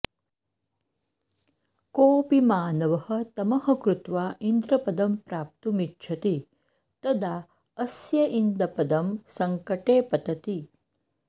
कोऽपि मानवः तमः कृत्वा इन्द्रपदं प्राप्तुमिच्छति तदा अस्य इन्दपदं सङ्कटे पतति